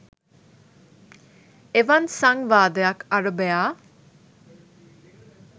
එවන් සංවාදයක් අරභයා